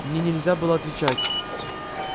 мне нельзя было отвечать